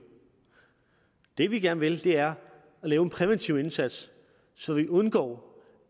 det vi gerne vil er at lave en præventiv indsats så vi undgår